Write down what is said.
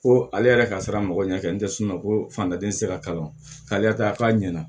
Ko ale yɛrɛ ka siran mɔgɔ ɲɛ kɛ n tɛ sunɔgɔ fantan den tɛ se ka kalan k'a ɲɛna